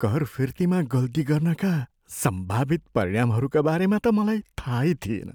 कर फिर्तीमा गल्ती गर्नाका सम्भावित परिणामहरूका बारेमा त मलाई थाहै थिएन।